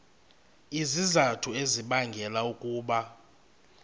izizathu ezibangela ukuba